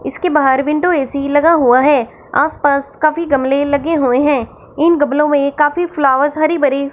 इसके बाहर window A C लगा हुआ है आसपास काफी गमले लगे हुएं हैं इन गमलों में काफी फ्लावर्स हरी भरी--